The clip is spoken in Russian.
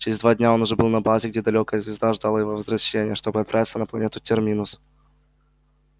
через два дня он уже был на базе где далёкая звезда ждала его возвращения чтобы отправиться на планету терминус